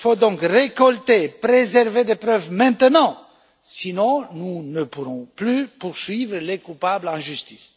Il faut donc récolter et préserver les preuves maintenant, sans quoi nous ne pourrons plus poursuivre les coupables en justice.